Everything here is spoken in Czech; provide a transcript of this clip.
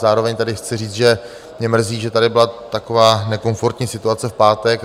Zároveň tedy chci říct, že mě mrzí, že tady byla taková nekomfortní situace v pátek.